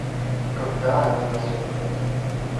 когда они нас увидят